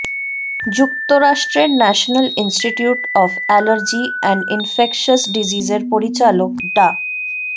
যুক্তরাষ্ট্রের national institute of allergy and infectious ডিজিজের পরিচালক ডা